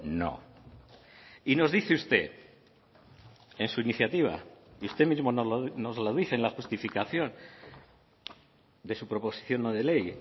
no y nos dice usted en su iniciativa y usted mismo nos lo dice en la justificación de su proposición no de ley